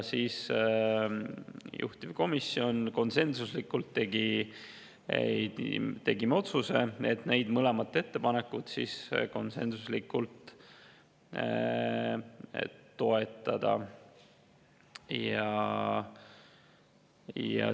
Juhtivkomisjon tegi konsensuslikult otsuse mõlemat ettepanekut toetada.